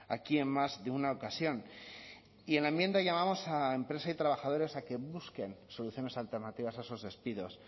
aquí en más de una ocasión y en la enmienda llamamos a empresa y trabajadores a que busquen soluciones alternativas a esos despidos